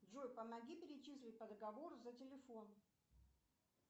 джой помоги перечислить по договору за телефон